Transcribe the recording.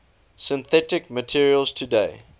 synthetic materials today